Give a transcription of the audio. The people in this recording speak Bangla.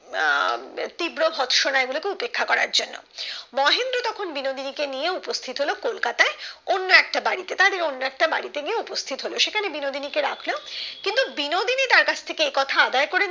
আহ তীব্র ভৎস নাই বলে কেউ দেখা করার জন্য মহেন্দ্র তখন বিনোদিনীকে নিয়ে উপস্থিত হলো কলকাতায় অন্য একটা বাড়িতে তারা অন্য একটা বাড়িতে গিয়ে উপস্থিত হলো সেখানে বিনোদিনীকে রাখলেও কিন্তু বিনোদিনী তার কাছ থেকে এই কথা আদায় করে নিলো